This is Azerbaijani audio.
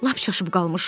Lap çaşıb qalmışam.